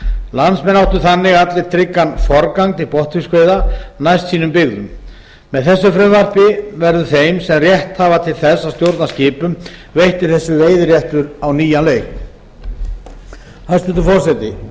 landsmenn áttu þannig allir tryggan forgang til botnfiskveiða næst sínum byggðum með þessu frumvarpi verður þeim sem rétt hafa til þess að stjórna skipum veittur þessi veiðiréttur á nýjan leik hæstvirtur forseti